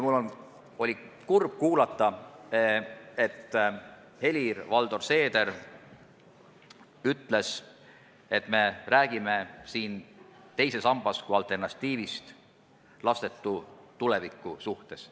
Mul oli kurb kuulata, et Helir-Valdor Seeder ütles, et me räägime siin teisest sambast kui alternatiivist lastetu tuleviku suhtes.